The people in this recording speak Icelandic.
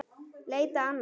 Leita annað?